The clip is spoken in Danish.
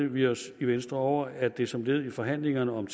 vi os i venstre over at det som led i forhandlingerne om